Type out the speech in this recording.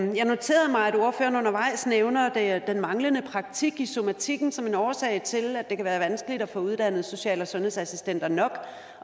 jeg noterede mig at ordføreren undervejs nævnte den manglende praktik i somatikken som en årsag til at det kan være vanskeligt at få uddannet social og sundhedsassistenter nok